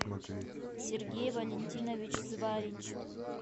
сергей валентинович зварич